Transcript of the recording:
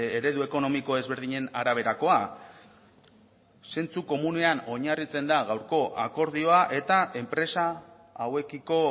eredu ekonomiko ezberdinen araberakoa zentzuko komunean oinarritzen da gaurko akordioa eta enpresa hauekiko